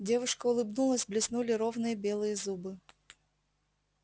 девушка улыбнулась блеснули ровные белые зубы